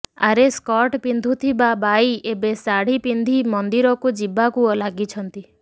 ଆରେ ସ୍କଟ ପିନ୍ଧୁଥିବା ବାଈ ଏବେ ଶାଢ଼ି ପିନ୍ଧି ମନ୍ଦିରକୁ ଯିବାକୁ ଲାଗିଛନ୍ତି